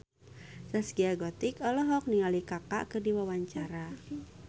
Zaskia Gotik olohok ningali Kaka keur diwawancara